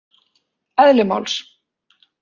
Eðli máls.